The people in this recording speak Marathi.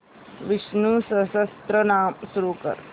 विष्णु सहस्त्रनाम सुरू कर